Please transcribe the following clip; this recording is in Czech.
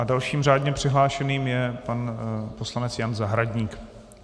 A dalším řádně přihlášeným je pan poslanec Jan Zahradník.